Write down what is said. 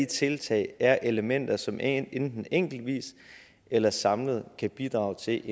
tiltag er elementer som enten enkeltvis eller samlet kan bidrage til